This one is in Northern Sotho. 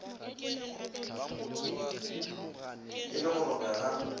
e le go robjwa ga